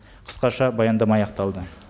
қысқаша баяндама аяқталды